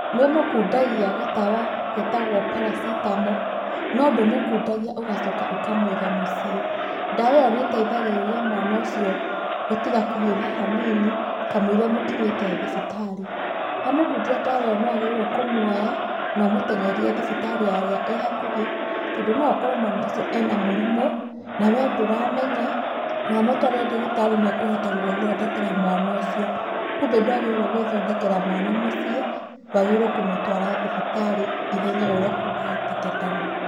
Nĩ ũmũkundagia gatawa getagwo paracetamol, no ndũmũkundagia ũgacoka ũkamũiga mũciĩ, ndawa ĩyo nĩ ĩteithagĩrĩria mwana ũcio gũtiga kũhiũha hanini kamũira mũkinyĩte thibitarĩ. Wamũkundia ndawa ĩyo nĩwagĩrĩiruo nĩ kũmuoya na ũmũteng'erie thibitarĩ ĩrĩa ĩ hakuhĩ tondũ no okorwo mwana ũcio ena mũrimũ na we ndũramenya na wamũtwarĩra ndagĩtarĩ nĩ ekũhota gũgũthondekera mwana ũcio. Kumbe ndwagĩrĩiruo gwĩthondekera mwana muciĩ, wagĩrĩiruo kũmũtwara thibitarĩ ihenya ũrĩa kũngĩhotekekana.